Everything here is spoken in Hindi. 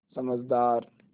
समझदार